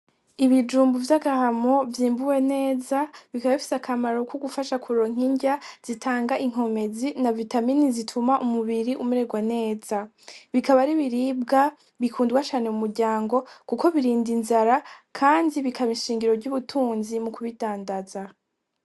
Ibijumbu vy'agahamo vyimbuwe neza bikaba bifise akamaro kogufasha kuronka inrya zitanga inkomezi navitamini zituma umubiri umeregwa neza, bikaba ari ibiribwa bikundwa cane mu muryango kuko birinda inzira kandi bikaba ishingiro ry'ubutunzi mukubidandaza.